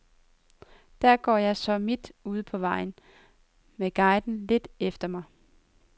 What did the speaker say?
Der går jeg så, midt ude på vejen med guiden lidt efter mig.